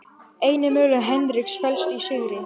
Eini möguleiki Henriks felst í sigri